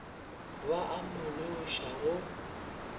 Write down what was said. ba a mo loša go